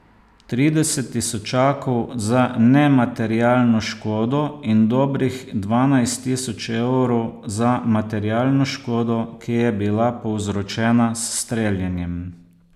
Trideset tisočakov za nematerialno škodo in dobrih dvanajst tisoč evrov za materialno škodo, ki je bila povzročena s streljanjem.